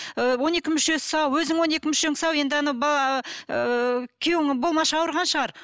ііі он екі мүшесі сау өзің он екі мүшең сау енді анау ыыы күйеуің болмашы ауырған шығар